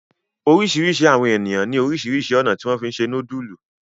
oríṣiríṣi àwọn ènìyàn ní orísirísi ọ̀nà tí wón fí se nudulu.